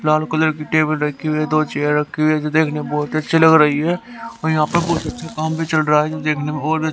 लाल colour की table रखी हुई हैं दो चेयर रखी हुए है देखना बहोत अच्छी लग रही हैं और यहां पर बहुत अच्छा काम भी चल रहा है जी देखनेमें ओर भी अच्छा--